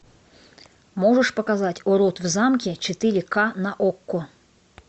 можешь показать урод в замке четыре ка на окко